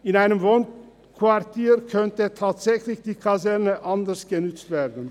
In einem Wohnquartier könnte die Kaserne tatsächlich anders genutzt werden.